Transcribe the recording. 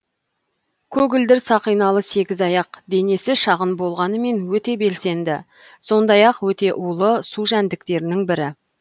көгілдір сақиналы сегізаяқ денесі шағын болғанымен өте белсенді сондай ақ өте улы су жәндіктерінің бірі